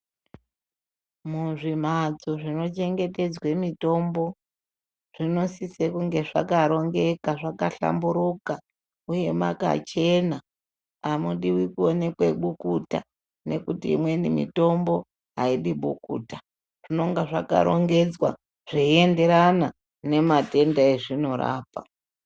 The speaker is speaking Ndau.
Muzvimbatso zvinochengetedzwe mitombo, zvinosise kunge zvakarongeka zvakahlamburuka uye makachena. Amudiwi kuonekwe bukuta nekuti imweni mitombo aidi bukuta. Zvinenge zvakarongedzwa zveienderana nematenda ezvinorapa.